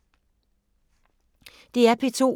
DR P2